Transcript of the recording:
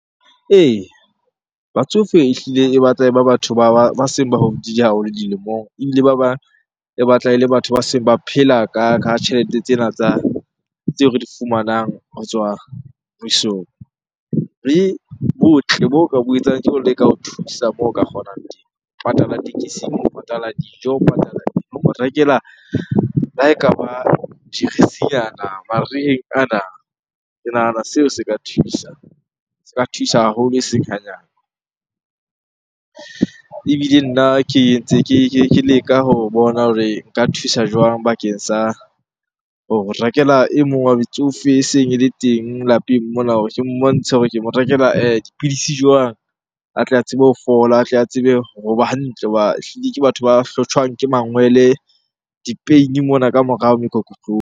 Ee, batsofe ehlile e batla e ba batho ba seng ba hodile haholo dilemong ebile ba bang e batla ele batho ba seng ba phela ka tjhelete tsena tsa, tseo re di fumanang ho tswa mmusong. Le botle bo ka bo etsang ke ho leka ho thusa moo o ka kgonang teng. Ho patala tekesing, ho patala dijo, ho patala mo rekela le ha ekaba jeresinyana mariheng ana. Ke nahana seo se ka thusa, se ka thusa haholo eseng hanyane. Ebile nna ke entse ke leka ho bona hore nka thusa jwang bakeng sa ho rekela e mong wa metsofe eseng ele teng lapeng mona. Ke mmontshe hore ke mo rekela dipidisi jwang a tle a tsebe ho fola, a tle a tsebe hoba hantle. Hoba ehlile ke batho ba hlotjhwang ke mangwele, di-pain-e mona ka morao mokokotlong.